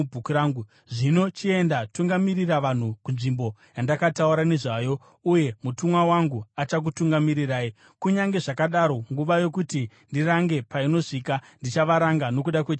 Zvino chienda, tungamirira vanhu kunzvimbo yandakataura nezvayo, uye mutumwa wangu achakutungamirirai. Kunyange zvakadaro, nguva yokuti ndirange painosvika, ndichavaranga nokuda kwechivi chavo.”